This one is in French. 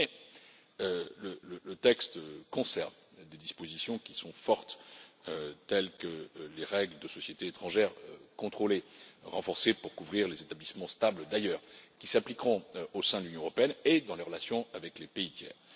Mais le texte conserve des dispositions qui sont fortes, telles que les règles relatives aux sociétés étrangères contrôlées, renforcées pour couvrir les établissements stables d'ailleurs, qui s'appliqueront au sein de l'Union européenne et dans les relations avec les pays tiers.